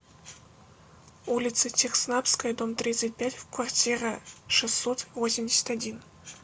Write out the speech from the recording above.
улица техснабская дом тридцать пять в квартира шестьсот восемьдесят один